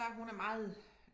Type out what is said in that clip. Der hun er meget